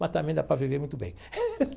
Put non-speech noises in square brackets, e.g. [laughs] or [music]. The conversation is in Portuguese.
Mas também dá para viver muito bem. [laughs]